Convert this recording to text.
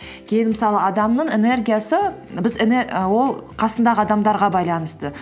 кейін мысалы адамның энергиясы біз ол қасындағы адамдарға байланысты